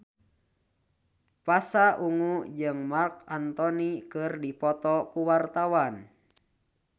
Pasha Ungu jeung Marc Anthony keur dipoto ku wartawan